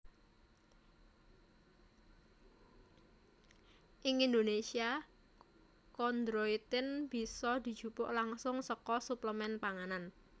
Ing Indonesia kondroitin bisa dijupuk langsung saka suplemen panganan